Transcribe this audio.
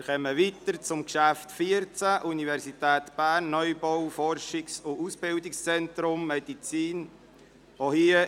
Wir kommen nun zum Traktandum 14 mit dem Thema «Universität Bern: Neubau Forschungs- und Ausbildungszentrum Medizin […]».